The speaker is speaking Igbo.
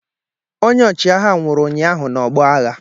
Onye ọchịagha nwụrụ ụnyaahụ n'ọgbọ agha